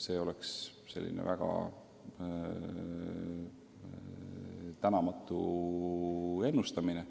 See oleks väga tänamatu ennustamine.